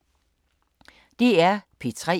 DR P3